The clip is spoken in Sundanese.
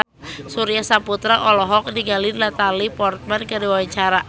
Surya Saputra olohok ningali Natalie Portman keur diwawancara